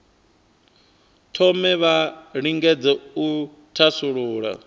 thome vha lingedze u thasulula